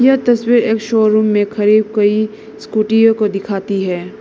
यह तस्वीर एक शोरूम में खड़ी कई स्कूटीयों को दिखाती है।